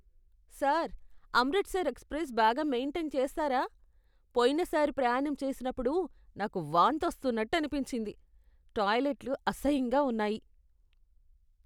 Sir, Amritsar express బాగా maintain చేస్తారా? పోయినసారి ప్రయాణం చేసినప్పుడు నాకు వాంతి వస్తున్నట్టు అనిపించింది. టాయిలెట్లు అసహ్యంగా ఉన్నాయి.